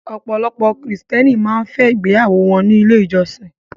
Ọ̀pọ̀lọpọ̀ krìstẹ́nì máa ń fẹ́ ṣe ìgbéyàwó wọ́n ní ilé ìjọsin.